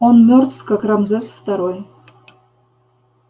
он мёртв как рамзес второй